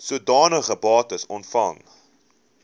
sodanige bates ontvang